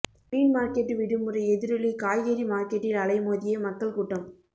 மீன் market விடுமுறை எதிரொலி காய்கறி மார்க்கெட்டில் அலைமோதிய மக்கள் கூட்டம்